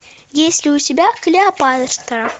есть ли у тебя клеопатра